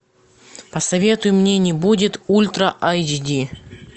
посоветуй мне не будет ультра айч ди